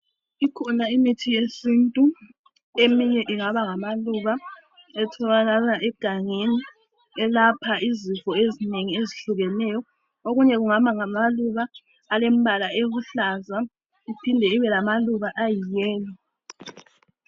Ikhona imithi yesintu eminye ingaba ngamaluba etholakala egangeni elapha izifo ezinengi ezihlukeneyo okunye kungaba ngamaluba alembala eluhlaza iphinde ibe lama luba ayi yellow .